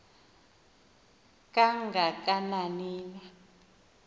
kanga kanani na